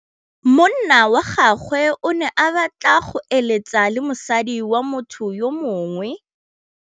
Monna wa gagwe o ne a batla go êlêtsa le mosadi wa motho yo mongwe.